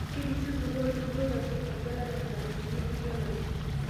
Ketisiputua olturur loitasheki engelare ntarikini engelare